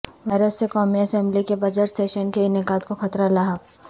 virus سے قومی assembly کے بجٹ سیشن کے انعقاد کو خطرہ لاحق